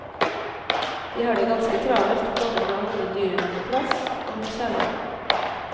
De har det ganske travelt, både med å holde dyrene på plass og med kjærligheten.